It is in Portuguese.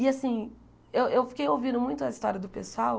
E, assim, eu eu fiquei ouvindo muito a história do pessoal.